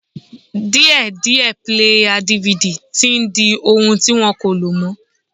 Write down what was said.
Díẹ̀díẹ̀ píléyà DVD tí n di ohun ti wọ́n kò lò mọ́